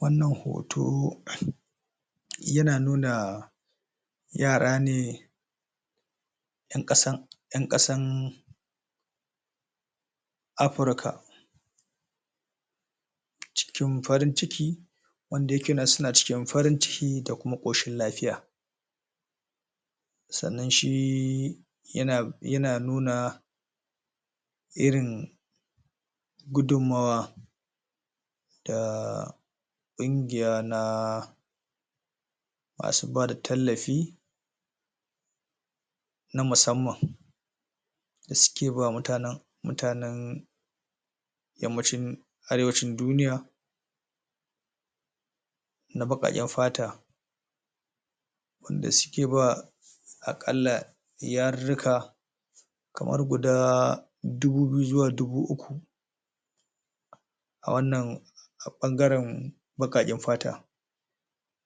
Wannan hoto ya na nuna yara ne en kasan, en kasan Afrika cikin farin ciki wanda ya ke nan suna cikin farin ciki da kuma koshin lafiya sannan shi yana, yana nuna irin gudunmawa da kungiya na ma su ba da tallafi na musamman da su ke ba wa mutanen, mutanen yamacin, arewancin duniya na baƙaƙen fata wanda su ke ba a kalla, yariruka kamar guda dubu biyu zuwa dubu uku a wannan a bangaren baƙaƙen fata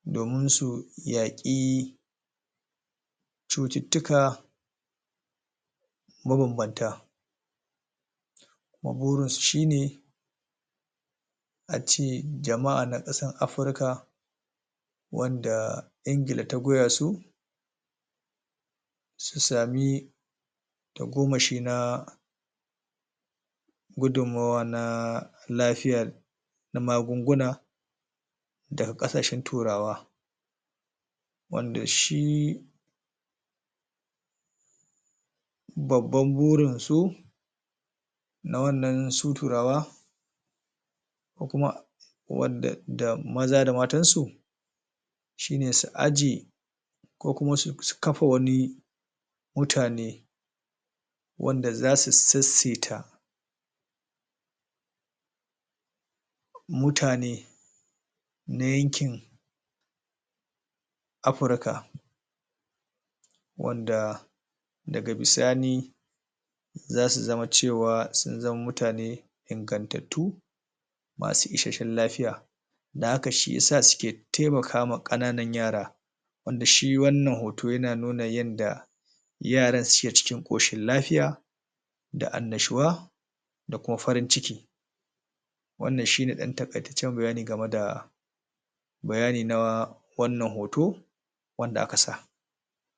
domin su yaƙi cututuka mabanbanta maburin su shi ne a ce jamaa na kasan Afrika wanda, Engila ta goya su su sami ta gomashi na gudumawa na lafiyar na magunguna da ga kasashen turawa wanda shi babban burin su na wannan su turawa ko kuma wadan da maza da matan su shi ne su aje ko kuma su kafa wani mutane wanda za su tsetseta mutane na yankin Afrika wanda da ga bisani za su zama cewa, sun zama mutane ingantattu masu isheshen lafiya da haka shiyasa su ke taimaka ma kananan yara wanda shi wannan hoto ya na nuna yanda yaran su ke cikin koshin lafiya da an'nashuwa da kuma farin ciki wannan shi ne dan takaceciyar bayani game da bayani na wannan hoto wanda a ka sa.